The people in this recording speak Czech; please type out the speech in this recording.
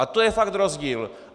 A to je fakt rozdíl.